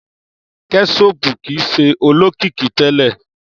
kẹṣopu kii ṣe olokiki tẹlẹ.